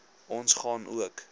ons gaan ook